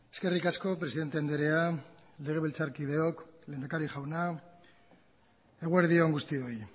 eskerrik asko presidente andrea legebiltzarkideok lehendakari jauna eguerdi on guztioi